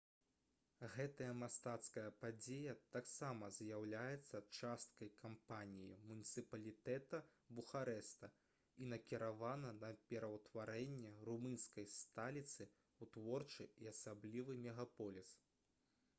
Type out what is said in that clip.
гэтая мастацкая падзея таксама з'яўляецца часткай кампаніі муніцыпалітэта бухарэста і накіравана на пераўтварэнне румынскай сталіцы ў творчы і асаблівы мегаполіс